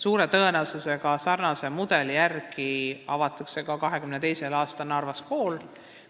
Suure tõenäosusega hakkab sarnase mudeli järgi toimuma õpe ka 2022. aastal avatavas Narva koolis.